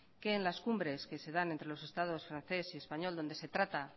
que en las cumbres que se dan entre los estados francés y español donde se trata